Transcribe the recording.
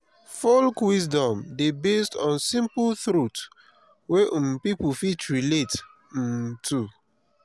folk wisdom dey based on simple truth wey um pipo fit relate um to